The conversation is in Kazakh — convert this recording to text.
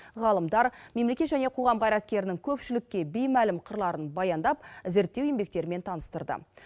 ғалымдар мемлекет және қоғам қайраткерінің көпшілікке беймәлім қырларын баяндап зерттеу еңбектерімен таныстырды